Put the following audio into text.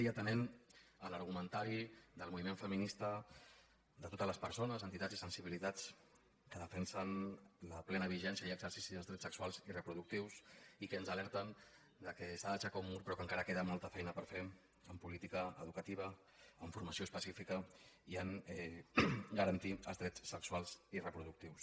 i atenent l’argumentari del moviment feminista de totes les persones entitats i sensibilitats que defensen la plena vigència i exercici dels drets sexuals i reproductius i que ens alerten que s’ha d’aixecar un mur però que encara queda molta feina per fer en política educativa en formació específica i a garantir els drets sexuals i reproductius